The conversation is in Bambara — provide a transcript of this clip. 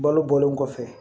Balo bɔlen kɔfɛ